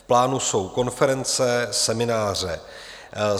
V plánu jsou konference, semináře.